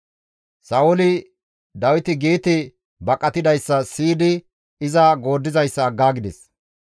Sa7ooli Dawiti Geete baqatidayssa siyidi iza gooddizayssa aggaagides.